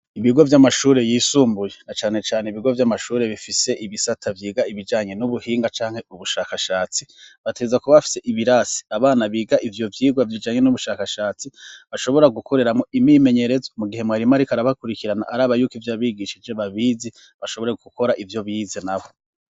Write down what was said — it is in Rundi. Ibigo vy'amashuri yisumbuye na cane cane ibigo by'amashuri bifise ibisata byiga ibijanye n'ubuhinga canke ubushakashatsi bateza kuba bafise ibirasi abana biga ivyo byigwa bijanye n'ubushakashatsi bashobora gukoreramo imimenyerezo mu gihe mwarimarik arabakurikirana ari abayuki ivy'abigishije babizi bashobore gukora ivyo bize nabo.